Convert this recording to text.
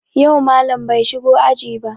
Yau Mallam bai shigo aji ba